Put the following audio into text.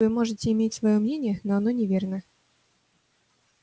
вы можете иметь своё мнение но оно неверное